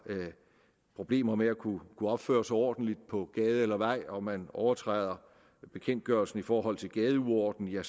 problemer med at kunne opføre sig ordentligt på gade eller vej og man overtræder bekendtgørelsen i forhold til gadeuorden er